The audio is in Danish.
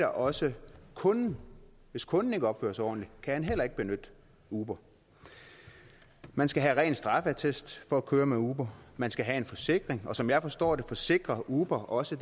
også kunden hvis kunden ikke opfører sig ordentligt kan han heller ikke benytte uber man skal have ren straffeattest for at køre med uber man skal have en forsikring og sådan som jeg forstår det forsikrer uber også